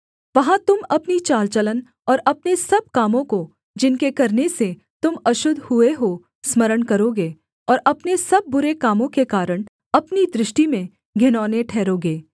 वहाँ तुम अपनी चाल चलन और अपने सब कामों को जिनके करने से तुम अशुद्ध हुए हो स्मरण करोगे और अपने सब बुरे कामों के कारण अपनी दृष्टि में घिनौने ठहरोगे